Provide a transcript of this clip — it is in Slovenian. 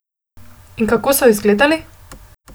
In kako so izgledali?